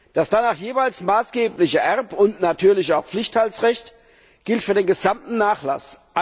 Dass danach jeweils maßgebliche Erb und natürlich auch Pflichtteilsrecht gilt für den gesamten Nachlass.